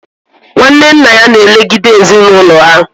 Nwanne nna ya na elegide ezinụlọ ha